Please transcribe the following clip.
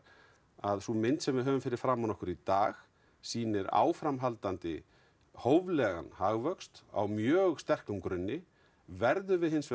að sú mynd sem við höfum fyrir framan okkur í dag sýnir áframhaldandi hóflegan hagvöxt á mjög sterkum grunni verðum við hins vegar